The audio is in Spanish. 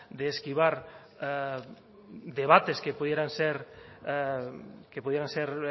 de esquivar debates que pudieran ser